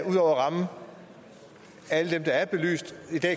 at ramme alle dem der er belyst